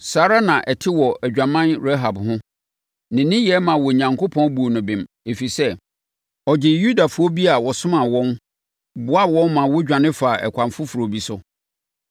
Saa ara na ɛte wɔ adwaman Rahab ho. Ne nneyɛeɛ maa Onyankopɔn buu no bem, ɛfiri sɛ, ɔgyee Yudafoɔ bi a wɔsomaa wɔn, boaa wɔn ma wɔdwane faa ɛkwan foforɔ bi so.